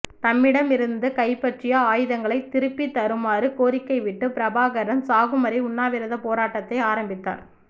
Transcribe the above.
தம்மிடமிருந்த கைப்பற்றிய ஆயுதங்களை திருப்பிதத் தருமாறு கோரிக்கை விட்டு பிரபாகரன் சாகும்வரை உண்ணாவிரதப் போராட்டத்தை ஆரம்பித்தார்